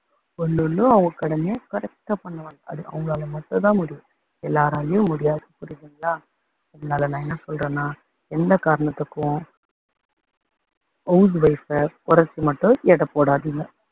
ஒண்ணு ஒண்ணும் அவங்க கடமையை correct ஆ பண்ணுவாங்க. அது அவங்களால மட்டும் தான் முடியும். எல்லாராலேயும் முடியாது புரியுதுங்களா அதனால நான் என்ன சொல்றேன்னா என்ன காரணத்துக்கும் house wife அ குறைச்சு மட்டும் எடை போடாதீங்க.